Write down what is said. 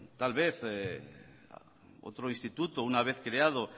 tal vez otro instituto una vez creado